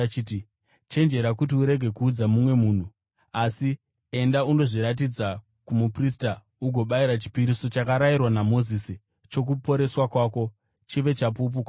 “Chenjera kuti urege kuudza mumwe munhu. Asi enda, undozviratidza kumuprista ugobayira chipiriso chakarayirwa naMozisi chokuporeswa kwako, chive chapupu kwavari.”